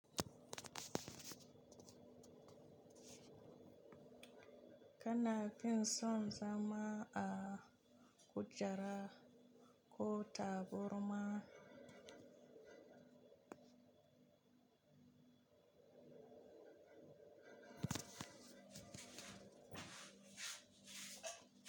Kana fin son zama a kujera ko tabarma?